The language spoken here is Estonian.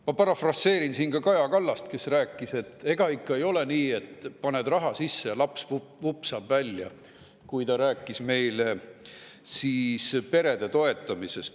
Ma parafraseerin siin Kaja Kallast, kes rääkis meile perede toetamisest ja ütles, et ega ikka ei ole nii, et paned raha sisse ja laps vupsab välja.